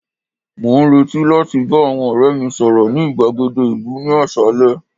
mo n reti láti ba àwọn ore mi sọrọ ni igbagede ìlú ni asale